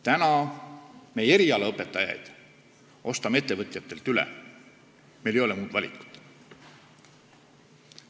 Täna me erialaõpetajaid ostame ettevõtjatelt üle, meil ei ole muud valikut.